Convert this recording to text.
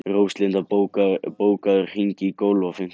Róslinda, bókaðu hring í golf á fimmtudaginn.